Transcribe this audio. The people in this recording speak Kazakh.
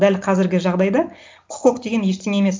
дәл қазіргі жағдайда құқық деген ештеңе емес